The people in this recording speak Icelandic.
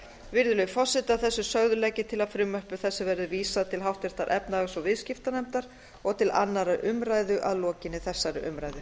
virðulegi forseti að þessu sögðu legg ég til að frumvarpi þessu verði vísað til háttvirtrar efnahags og viðskiptanefndar og til annarrar umræðu að lokinni þessari umræðu